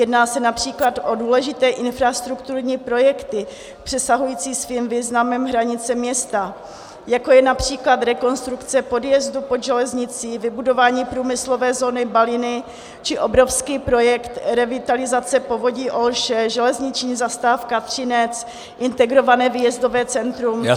Jedná se například o důležité infrastrukturní projekty přesahující svým významem hranice města, jako je například rekonstrukce podjezdu pod železnicí, vybudování průmyslové zóny Baliny či obrovský projekt revitalizace povodí Olše, železniční zastávka Třinec, integrované výjezdové centrum a další.